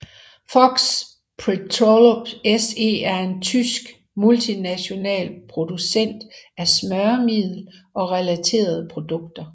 Fuchs Petrolub SE er en tysk multinational producent af smøremiddel og relaterede produkter